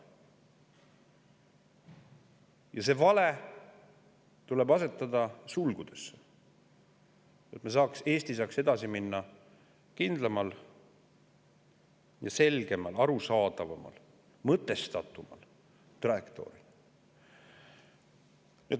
Ja see vale tuleb asetada sulgudesse, et Eesti saaks edasi minna kindlamal ja selgemal, arusaadavamal ja mõtestatumal trajektooril.